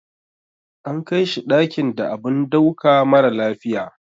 Ana kaishi dakin da abun dauka mara lafiya.